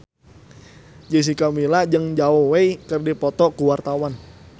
Jessica Milla jeung Zhao Wei keur dipoto ku wartawan